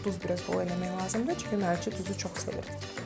Duz biraz bol eləmək lazımdır, çünki mərci duzu çox sevir.